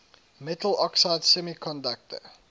metal oxide semiconductor